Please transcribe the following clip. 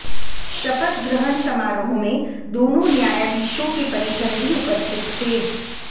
शपथ ग्रहण समारोह में दोनों न्यायाधीशों के परिजन भी उपस्थित थे